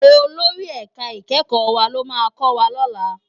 Ólóri èká ikèékò wá ló má kòwá lòlá